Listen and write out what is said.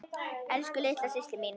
Elsku litla systir mín.